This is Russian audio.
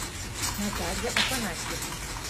наталья афанасьевна